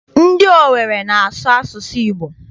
Ndị Owere na-asụ asụsụ Igbo.